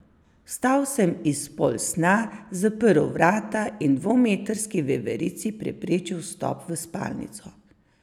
Vstal sem iz polsna, zaprl vrata in dvometrski veverici preprečil vstop v spalnico.